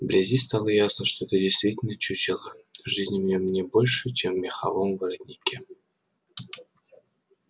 вблизи стало ясно что это действительно чучело жизни в нем не больше чем в меховом воротнике